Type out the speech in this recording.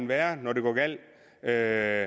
være når det går galt er